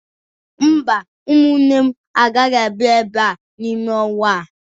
Mba, ụmụnne m agaghị abịa ebe n'ime ọnwa a.